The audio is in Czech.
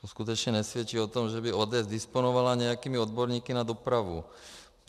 To skutečně nesvědčí o tom, že by ODS disponovala nějakými odborníky na dopravu.